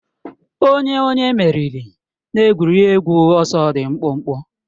Ọ onye onye meriri n'egwuregwu ọsọ dị mkpụmkpụ